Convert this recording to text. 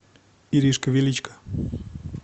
иришка величко